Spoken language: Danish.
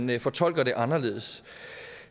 vi fortolker det anderledes